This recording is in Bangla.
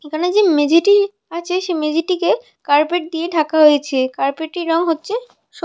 এখানে যে মেঝেটি আছে সে মেঝে টিকে কার্পেট দিয়ে ঢাকা হয়েছে কার্পেট টির রং হচ্ছে সবুজ --